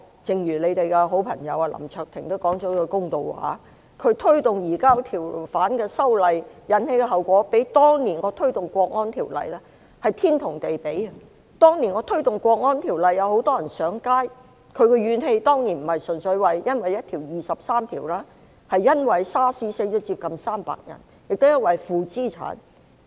正如你們的好朋友林卓廷議員也說了一句公道話，推動移交逃犯的修例引起的後果，相比當年我推動"國安條例"是天與地比，當年我推動"國安條例"有很多人上街，但他們的怨氣並不純粹在於二十三條立法，亦包括 SARS 死了接近300人及負資產。